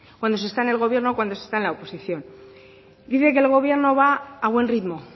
cuando se está en el gobierno o cuando se está en la oposición dice que el gobierno va a buen ritmo